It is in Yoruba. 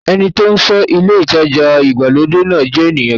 Ẹni tí ó ń ṣọ́ ilé ìtajà ìgbàlódé náà jẹ́ ènìyàn gidi.